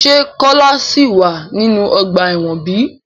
Se Kola si wa ninu ọgba ẹ́wọ̀n bi?